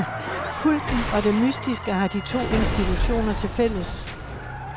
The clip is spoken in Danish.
Kulten og det mystiske har de to institutioner til fælles.